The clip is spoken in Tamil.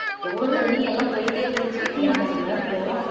எவ்வளவு தண்ணி எல்லாம் போயிட்டே இருந்துச்சு எனக்கு அன்னைக்கு வேற ஜுரம்